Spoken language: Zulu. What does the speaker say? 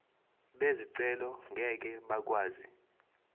bezicelo ngeke bakwazi